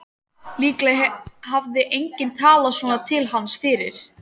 Líklega hafði enginn talað svona til hans fyrr.